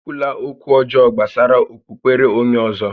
E kwula ókwú ọjọọ gbásárá okpukpere onyé ọ̀zọ́!